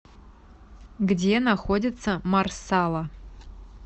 где находится марсала